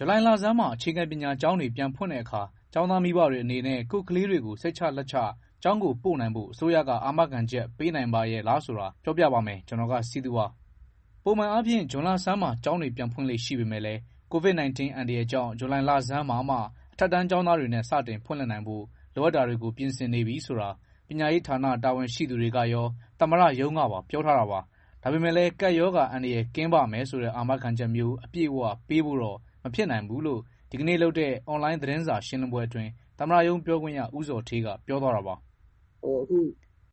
ဇူလိုင်လဆန်းမှာ အခြေခံပညာကျောင်းတွေ ပြန်ဖွင့်တဲ့အခါ ကျောင်းသားမိဘတွေ အနေနဲ့ ကိုယ့်ကလေးတွေကို စိတ်ချလက်ချ ကျောင်းပို့နိုင်ဖို့ အစိုးရက အာမခံချက် ပေးနိုင်ပါရဲ့လားဆိုတာ ကိုစည်သူက စုစည်း တင်ပြထားပါတယ်။ ပုံမှန်အားဖြင့် ဇွန်လဆန်းမှာ ကျောင်းတွေပြန်ဖွင့်လေ့ ရှိပေမယ့်လည်း COVID-19 အန္တရာယ်ကြောင့် ဇူလိုင်လဆန်းမှာမှ အထက်တန်းကျောင်းသားတွေနဲ့ စတင်ဖွင့်လှစ်နိုင်ဖို့ လိုအပ်တာတွေကို ပြင်ဆင်နေပြီဆိုတာ ပညာရေးဌာန တာဝန်ရှိသူတွေကရော သမ္မတရုံးကပါ ပြောထားတာပါ။ ဒါပေမယ့်လည်း ကပ်ရောဂါအန္တရာယ် ကင်းပါ့မယ်ဆိုတဲ့ အာမခံချက်မျိုး အပြည့်အဝ ပေးဖို့တော့ မဖြစ်နိုင်ဘူးလို့ ဒီကနေ့လုပ်တဲ့ အွန်လိုင်း သတင်းစာရှင်းလင်းပွဲအတွင်း သမ္မတရုံးပြောခွင့်ရ ဦးဇော်ဌေးက ပြောသွားတာပါ။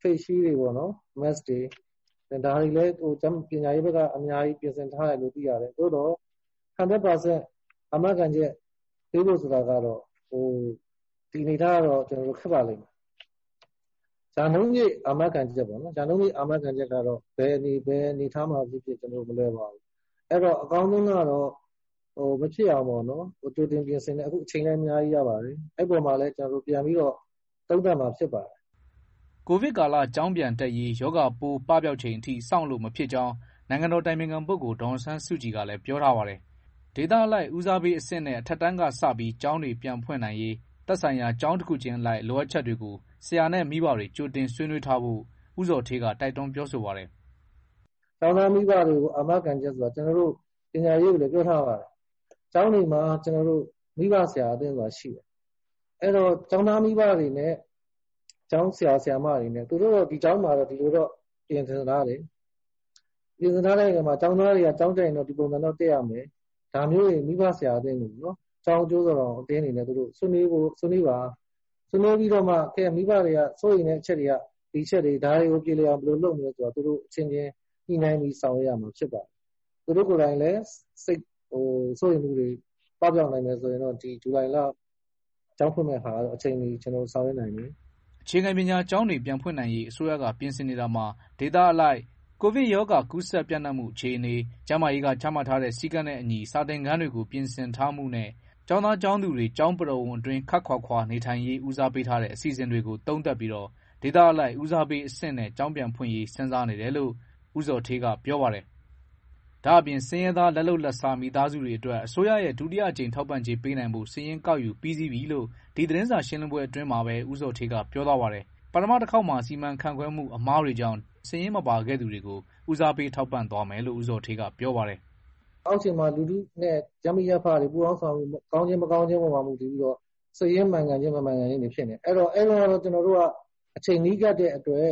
“Faceshield တွေ Mask တွေပေးဖို့ ပညာရေးက ပြင်ဆင်ထားတယ်။ သို့သော် ၁၀၀ ရာခိုင်နှုန်း အာမခံချက်ပေးဖို့ ဆိုတာကတော့ ဒီအနေအထားက ခက်ပါလိမ့်မယ်။ ရာနှုန်းပြည့် အာမခံချက်ကတော့ ဘယ်အနေအထားမှာဖြစ်ဖြစ် မလွယ်ပါဘူး။ အကောင်းဆုံးကတော့ မဖြစ်အောင်ပေါ့နော် ကြိုတင်ပြင်ဆင်မယ်၊ အခု အချိန်လည်း အများကြီးရပါတယ်။ ဒီအပေါ်မှာလည်း ပြန်ပြီးတော့ သုံးသပ်မှာ ဖြစ်ပါတယ်။” ကိုဗစ်ကာလ ကျောင်းပြန်တက်ရေး ရောဂါပိုး ပပျောက်ချိန်ထိ စောင့်လို့မဖြစ်ကြောင်း နိုင်ငံတော်အတိုင်ပင်ခံပုဂ္ဂိုလ် ဒေါ်အောင်ဆန်းစုကြည်ကလည်း ပြောထားပါတယ်။ ဒေသအလိုက် ဦးစားပေးအဆင့်နဲ့ အထက်တန်းကစ ကျောင်းတွေပြန်ဖွင့်နိုင်ရေး သက်ဆိုင်ရာ ကျောင်းတခုချင်းအလိုက် လိုအပ်ချက်တွေကို ဆရာနဲ့ မိဘတွေ ကြိုတင်ဆွေးနွေးထားဖို့ ဦးဇော်ဌေးက တိုက်တွန်း ပြောဆိုပါတယ်။ “အာမခံချက်ဆိုတာ ကျနော်တို့က ပညာရေးကိုလည်း ပြောထားပါတယ်။ ကျောင်းတွေမှာ မိဘဆရာအသင်းဆိုတာ ရှိတယ်။ ကျောင်းသားမိဘတွေနဲ့ ကျောင်းဆရာ၊ ဆရာမတွေနဲ့ ဒီကျောင်းမှာတော့ ဒီလိုပြင်ဆင်ထားတယ်၊ ကျောင်းသားတွေက ကျောင်းတက်ရင် ဒီလိုတော့ တက်ရမယ်၊ ကျောင်းအကျိုးတော်ဆောင် အသင်းတွေ ဆွေးနွေးပါ၊ ပြီးမှ မိဘတွေက စိုးရိမ်တဲ့ အချက်တွေက ဒီအချက်တွေ၊ ဒါတွေကို ပြေလည်အောင် ဘယ်လိုလုပ်မလဲဆိုတာ သူတို့အချင်းချင်း ညှိနှိုင်းပြီး ဆောင်ရွက်ရပါမယ်။ သူတို့ကိုယ်တိုင်လည်း စိုးရိမ်မှုတွေ ပပျောက်နိုင်မယ် ဆိုလို့ရှိရင် ဇူလိုင်လ ကျောင်းဖွင့်ဖို့ အချိန်မီ ဆောင်ရွက်နိုင်ပါမယ်။” အခြေခံပညာကျောင်းတွေ ပြန်ဖွင့်နိုင်ရေး အစိုးရက ပြင်ဆင်နေတာမှာ ဒေသအလိုက် ကိုဗစ်ရောဂါ ကူးစက်ပျံ့နှံ့မှု အခြေအနေ၊ ကျန်းမာရေးက ချမှတ်ထားတဲ့ စည်းကမ်းနဲ့အညီ စာသင်ခန်းတွေ ပြင်ဆင်ထားမှုနဲ့ ကျောင်းသား ကျောင်းသူတွေ ကျောင်းပရိဝုဏ်အတွင်း ခပ်ခွာခွာနေထိုင်ရေး ဦးစားပေးထားတဲ့ အစီအစဉ်တွေကို သုံးသပ်ပြီး ဒေသအလိုက် ဦးစားပေးအဆင့်နဲ့ ကျောင်းပြန်ဖွင့်ရေး စဉ်းစားနေတယ်လို့ ဦးဇော်ဌေးက ပြောပါတယ်။ ဒါ့အပြင် ဆင်းရဲသား လက်လုပ်လက်စား မိသားစုတွေအတွက် အစိုးရရဲ့ ဒုတိယအကြိမ် ထောက်ပံ့ကြေး ပေးနိုင်ဖို့ စာရင်းကောက်ယူပြီးစီးပြီလို့ ဒီသတင်းစာရှင်းလင်းပွဲ အတွင်းမှာပဲ ဦးဇော်ဌေးက ပြောသွားပါတယ်။ ပထမတခေါက်မှာ စီမံခန့်ခွဲမှု အမှားတွေကြောင့် စာရင်းမပါခဲ့သူတွေကို ဦးစားပေး ထောက်ပံ့သွားမယ်လို့ ဦးဇော်ဌေးက ပြောပါတယ်။ “အောက်ခြေမှာ လူထုနဲ့ ရပ်မိရပ်ဖတွေ ပူးပေါင်းဆောင်ရွက်မှု ကောင်းခြင်း မကောင်းခြင်းပေါ်မှာ မူတည်ပြီးတော့ စိတ်ရင်းမှန်ကန်ခြင်း မမှန်ကန်ခြင်းတွေ ဖြစ်နေတယ်။ အဲဒီတုန်းကတော့ အချိန်နီးကပ်တဲ့အတွက်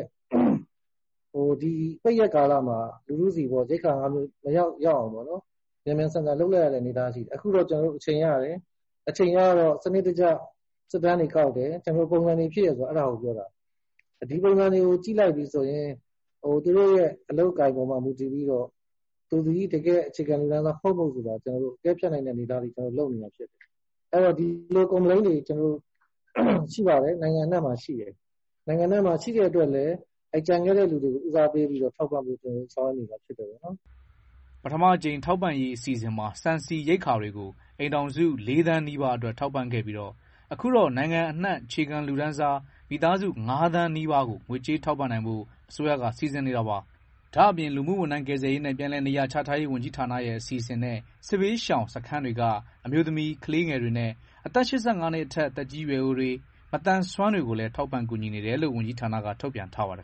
ပိတ်ရက်ကာလမှာ လူထုဆီ ရိက္ခာငါးမျိုး မရောက်ရောက်အောင်ပေါ့နော်၊ မြန်မြန်ဆန်ဆန် လုပ်လိုက်ရတဲ့ အနေအထားရှိတယ်။ အခုတော့ ကျနော်တို့ အချိန်ရတယ်။ အချိန်ရတော့ စနစ်တကျ စစ်တမ်းတွေကောက်တယ်၊ ပုံစံတွေဖြည့်တယ်၊ ဒီပုံစံတွေအပေါ်မှာ မူတည်ပြီးတော့ သူသည် အခြေခံလူတန်းစား ဟုတ်မဟုတ် ဆိုတာ အကဲဖြတ်နိုင်တယ်။ Complain တွေ နိုင်ငံအနှံ့မှာ ရှိပါတယ်။ ရှိလို့လည်း ကျန်ခဲ့တဲ့သူတွေကို ဦးစားပေးထောက်ပံ့ဖို့ ကျနော်တို့ ဆောင်ရွက်နေပါတယ်။” ပထမအကြိမ် ထောက်ပံ့ရေး အစီအစဉ်မှာ ဆန် ဆီ ရိက္ခာတွေကို အိမ်ထောင်စု ၄ သန်းနီးပါးအတွက် ထောက်ပံ့ခဲ့ပြီး အခုတော့ နိုင်ငံအနှံ့ အခြေခံလူတန်းစား မိသားစု ၅ သန်းနီးပါးကို ငွေကြေးထောက်ပံ့နိုင်ဖို့ အစိုးရက စီစဉ်နေတာပါ။ ဒါ့အပြင် လူမှုဝန်ထမ်း ကယ်ဆယ်ရေးနဲ့ ပြန်လည်နေရာချထားရေး ဝန်ကြီးဌာနရဲ့ အစီအစဉ်နဲ့ စစ်ဘေးရှောင်စခန်းတွေက အမျိုးသမီး၊ ကလေးငယ်တွေနဲ့ အသက် ၈၅ နှစ်အထက် သက်ကြီးရွယ်အိုတွေနဲ့ မသန်စွမ်းတွေကိုလည်း ထောက်ပံ့ကူညီနေတယ်လို့ ဝန်ကြီးဌာနက ထုတ်ပြန်ထားပါတယ်